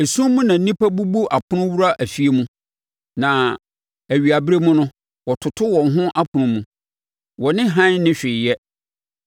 Esum mu na nnipa bubu apono wura afie mu, na awiaberɛ mu no, wɔtoto wɔn ho ɛpono mu; wɔne hann nni hwee yɛ.